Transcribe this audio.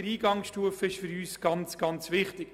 Die Eingangsstufe ist für uns deshalb sehr wichtig.